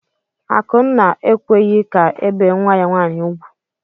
Akụnna ekweghị ka ebee nwa ya nwaanyị ugwu.